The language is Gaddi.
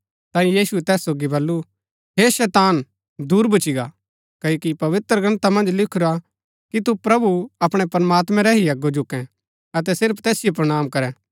ता यीशुऐ तैस सोगी बल्लू हे शैतान दूर भूच्ची गा क्ओकि पवित्रग्रन्था मन्ज लिखूरा कि तू प्रभु अपणै प्रमात्मैं रै ही अगो झूकैं अतै सिर्फ तैसिओ प्रणाम करै